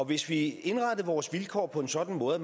hvis vi indrettede vores vilkår på en sådan måde at